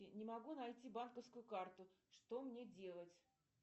не могу найти банковскую карту что мне делать